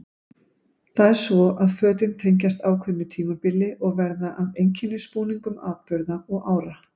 Það er svo að fötin tengjast ákveðnu tímabili og verða að einkennisbúningum atburða og ára.